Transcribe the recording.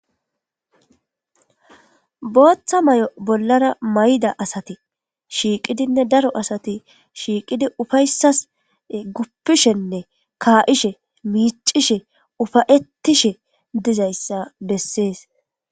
Booththa mayo bollara mayidda asati shiiqidinne daro asati shiiqidi uffayssaska guffishenne ka7ishe, miccishe uffayitishe dizayssa besses.